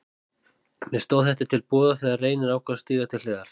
Mér stóð þetta til boða þegar Reynir ákvað að stíga til hliðar.